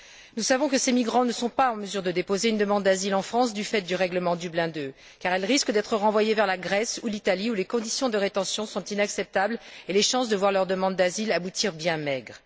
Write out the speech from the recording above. Nous savons que ces migrants ne sont pas en mesure de déposer une demande d'asile en France du fait du Dublin II, car ils risquent d'être renvoyés vers la Grèce ou l'Italie, où les conditions de rétention sont inacceptables et les chances de voir leur demande d'asile aboutir bien maigres.